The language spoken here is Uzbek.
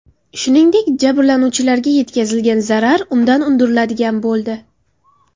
Shuningdek, jabrlanuvchilarga yetkazilgan zarar undan undiriladigan bo‘ldi.